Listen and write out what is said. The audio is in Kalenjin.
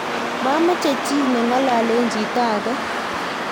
mameche chii ne ng'ololen chito age